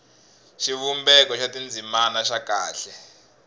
xivumbeko xa tindzimana xa kahle